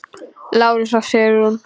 Lárus og Sigrún.